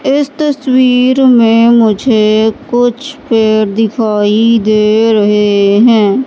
इस तस्वीर में मुझे कुछ पेड़ दिखाई दे रहे हैं।